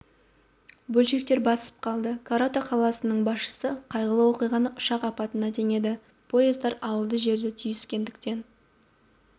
бөдшектер басып қалды корато қаласының басшысы қайғылы оқиғаны ұшақ апатына теңеді поездар ауылды жерде түйіскендіктен